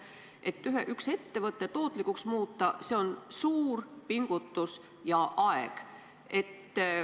Et üks ettevõte tootlikuks muuta, läheb vaja suurt pingutust ja aega.